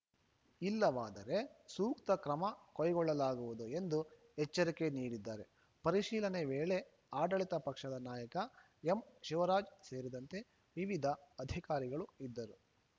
ಇಲ್ಲವಾದರೆ ಸೂಕ್ತ ಕ್ರಮ ಕೈಗೊಳ್ಳಲಾಗುವುದು ಎಂದು ಎಚ್ಚರಿಕೆ ನೀಡಿದ್ದಾರೆ ಪರಿಶೀಲನೆ ವೇಳೆ ಆಡಳಿತ ಪಕ್ಷದ ನಾಯಕ ಎಂ ಶಿವರಾಜ್‌ ಸೇರಿದಂತೆ ವಿವಿಧ ಅಧಿಕಾರಿಗಳು ಇದ್ದರು